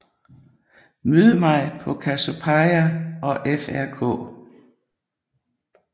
Mød mig på Cassiopeia og Frk